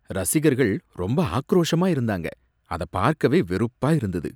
ரசிகர்கள் ரொம்ப ஆக்ரோஷமா இருந்தாங்க, அத பார்க்கவே வெறுப்பா இருந்தது